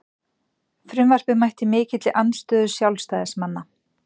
Frumvarpið mætti mikilli andstöðu sjálfstæðismanna